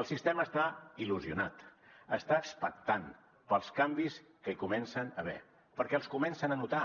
el sistema està il·lusionat està expectant pels canvis que hi comencen a haver perquè els comencen a notar